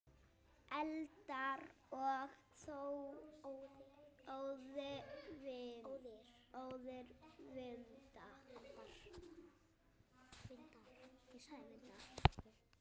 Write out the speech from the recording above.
Eldar og óðir vindar